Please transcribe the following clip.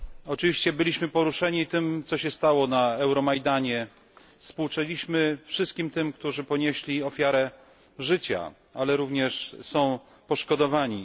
Oczywiście byliśmy poruszeni tym, co się stało na Euromajdanie, współczuliśmy wszystkim tym, którzy ponieśli ofiarę życia albo są poszkodowani.